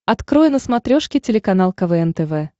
открой на смотрешке телеканал квн тв